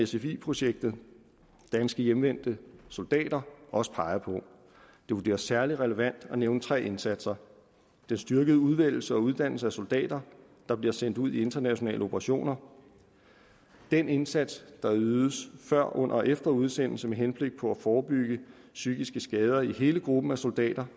sfi projektet danske hjemvendte soldater også peger på det vurderes særlig relevant at nævne tre indsatser den styrkede udvælgelse og uddannelse af soldater der bliver sendt ud i internationale operationer den indsats der ydes før under og efter udsendelse med henblik på at forebygge psykiske skader i hele gruppen af soldater